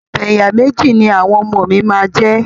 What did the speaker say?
Abẹ̀yàméjì ni àwọn ọmọ mi máa jẹ.